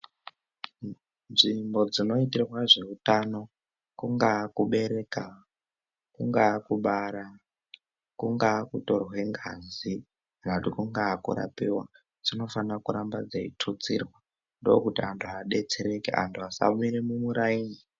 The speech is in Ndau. Nzvimbo dzinoitirwa zveutano kungaa kubereka kungaa kubara kungaa kutorwa ngazi kungaa kurapiwa dzinofanira kuramba dzeitutsirwa ndokuti vantu vadetsereke vasamire mumuraini.